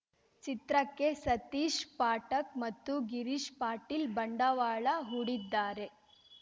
ಚಿತ್ರಕ್ಕೆ ಸತೀಶ್‌ ಪಾಟಕ್‌ ಮತ್ತು ಗಿರೀಶ್‌ ಪಾಟೀಲ್‌ ಬಂಡವಾಳ ಹೂಡಿದ್ದಾರೆ